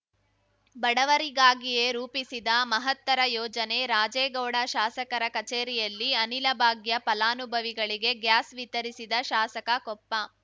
ಬಡವರಿಗಾಗಿಯೇ ರೂಪಿಸಿದ ಮಹತ್ತರ ಯೋಜನೆ ರಾಜೇಗೌಡ ಶಾಸಕರ ಕಚೇರಿಯಲ್ಲಿ ಅನಿಲ ಭಾಗ್ಯ ಫಲಾನುಭವಿಗಳಿಗೆ ಗ್ಯಾಸ್‌ ವಿತರಿಸಿದ ಶಾಸಕ ಕೊಪ್ಪ